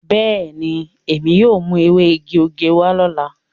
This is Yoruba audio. Beeni, emi yóò mu ewe igi osè wa lola.